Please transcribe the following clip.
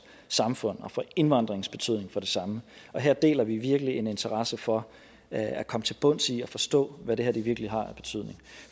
samfund og for indvandringens betydning for det samme her deler vi virkelig en interesse for at komme til bunds i at forstå hvad det her virkelig har af betydning